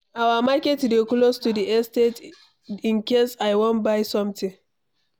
Our market dey close to the estate in case I wan buy something.